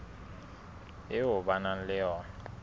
eo ba nang le yona